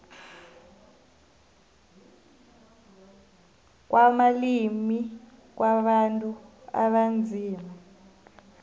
kwamalimi wabantu abanzima